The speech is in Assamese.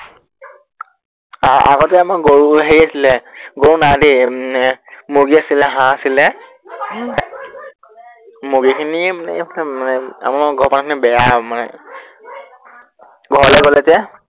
আহ আহ আগতে আমাৰ গৰু হেৰি আছিলে, গৰু নাই দেই মানে উম এৰ মুৰ্গী আছিলে হাঁহ আছিলে উম মুৰ্গীখিনি এৰ আমাৰ ঘৰৰ পৰা অনা খিনি বেয়া মানে ঘৰলে গলে যে